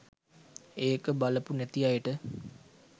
ඒක බලපු නැති අයට.